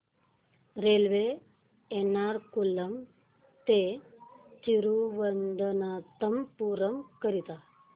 railway Ernakulam ते थिरुवनंतपुरम करीता